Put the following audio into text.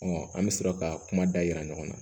an bɛ sɔrɔ ka kuma da yira ɲɔgɔn na